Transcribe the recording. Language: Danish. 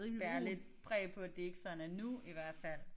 Bærer lidt præg på at det ikke sådan er nu i hvert fald